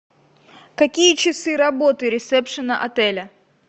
какие часы работы ресепшена отеля